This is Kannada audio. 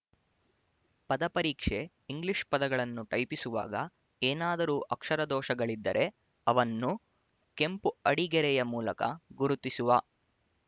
ಪದಪರೀಕ್ಷೆ ಇಂಗ್ಲಿಷ್‌ ಪದಗಳನ್ನು ಟೈಪಿಸುವಾಗ ಏನಾದರೂ ಅಕ್ಷರದೋಷಗಳಿದ್ದರೆ ಅವನ್ನು ಕೆಂಪು ಅಡಿಗೆರೆಯ ಮೂಲಕ ಗುರುತಿಸುವ